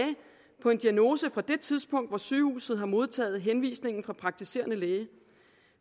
på en diagnose fra det tidspunkt hvor sygehuset har modtaget henvisningen fra den praktiserende læge